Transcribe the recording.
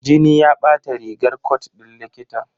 Jini ya bata rigar cot ɗin likitan.